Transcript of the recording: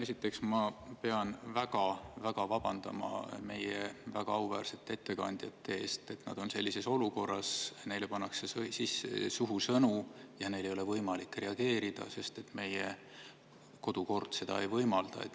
Esiteks pean ma väga-väga vabandama meie väga auväärsete ettekandjate ees, et nad on sellises olukorras, kus neile pannakse suhu sõnu ja neil ei ole võimalik reageerida, sest meie kodukord seda ei võimalda.